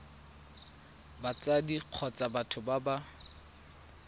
batsadi kgotsa batho ba ba